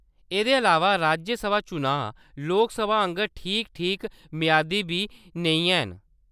एह्‌‌‌दे अलावा, राज्यसभा चुनांऽ लोकसभा आंह्‌गर ठीक-ठीक मेआदी बी नेईं हैन।